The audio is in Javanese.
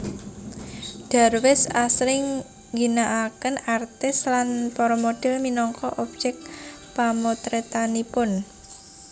Darwis asring ngginakaken artis lan para model minangka objek pamotretanipun